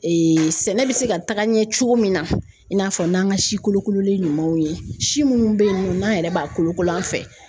sɛnɛ bɛ se ka taga ɲɛ cogo min na i n'a fɔ n'an ka si kolokololen ɲumanw ye si minnu bɛ yen nɔ n'an yɛrɛ b'a kolokolo an fɛ